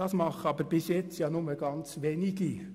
Das machen aber bis anhin ja nur ganz wenige.